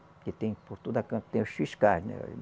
Porque tem por toda canto, tem os fiscais, né?